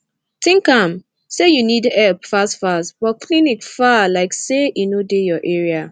think am say u need epp fast fast but clinic far lyk say e no dey ur area